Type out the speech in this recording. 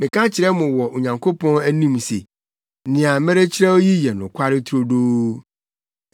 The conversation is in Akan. Meka kyerɛ mo wɔ Onyankopɔn anim se nea merekyerɛw yi yɛ nokware turodoo.